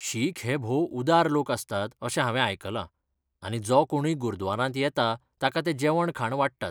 शीख हे भोव उदार लोक आसतात अशें हांवें आयकलां, आनी जो कोणूय गुरद्वारांत येता ताका ते जेवण खाण वाडटात.